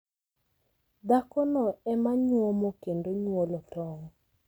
Dhakono ema nyuomo kendo nyuolo tong'.